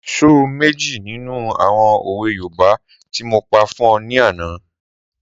Sọ méjì nínú àwọn òwe yoòbá ti mo pa fún ọ ní àná